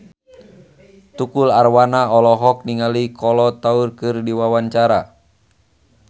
Tukul Arwana olohok ningali Kolo Taure keur diwawancara